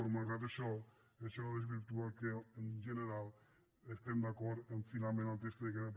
però malgrat això això no desvirtua que en general estiguem d’acord amb finalment el text que queda